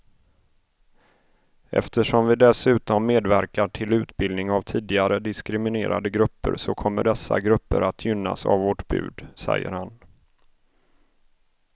Eftersom vi dessutom medverkar till utbildning av tidigare diskriminerade grupper så kommer dessa grupper att gynnas av vårt bud, säger han.